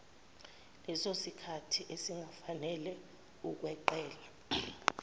lesosikhathi esingafanele ukweqela